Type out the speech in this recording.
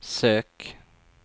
søk